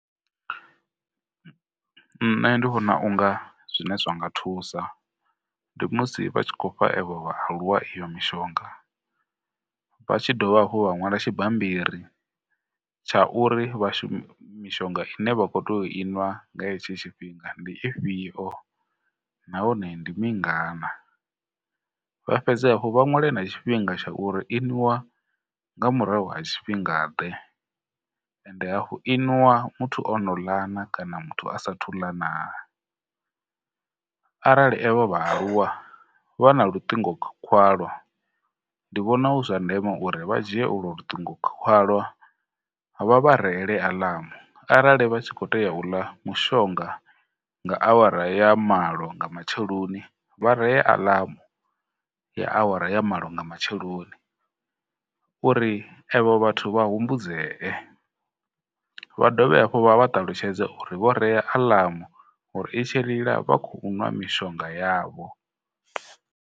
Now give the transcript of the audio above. Nṋe ndi vhona unga zwine zwa nga thusa ndi musi vha tshi khou fha evho vhaaluwa iyo mishonga vha tshi dovha hafhu vha ṅwala tshibammbiri tsha uri mishonga ine vha khou tea u i nwa nga hetsho tshifhinga ndi ifhio nahone ndi mingana, vha fhedze hafhu vha ṅwale na tshifhinga tsha uri i nwiwa nga murahu ha tshifhingaḓe hafhu i nwiwa muthu o no ḽa na kana muthu a sa thu ḽa na? Arali evho vhaaluwa vha na luṱingo khwalwa ndi vhona hu zwa ndeme uri vha dzhie ulwo lutingo khwalwa vha vha reele aḽamu arali vha tshi khou tea u ḽa mushonga nga awara ya malo nga matsheloni vha ree aḽamu ya awara ya malo nga matsheloni uri evho vhathu vha humbudzee, vha dovhe hafhu vha vha ṱalutshedze uri vho rea aḽamu uri i tshi lila vha khou nwa mishonga yavho.